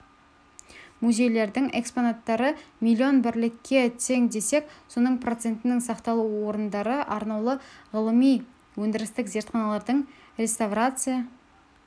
музейлердің экспонаттары миллион бірлікке тең десек соның процентінің сақталу орындары мен арнаулы ғылыми-өндірістік зертханаларының реставрация